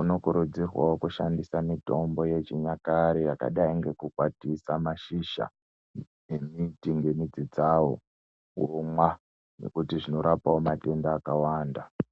unokurudzirwao kushandisa mitombo yechinyakare yakadai nekukwatisa mashizha embiti nemidzi dzao omwa nekuti zvinorapao matenda akawanda.